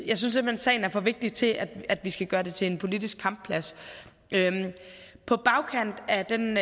sagen er for vigtigt til at vi skal gøre det til en politisk kampplads på bagkant af den